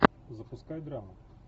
запускай драму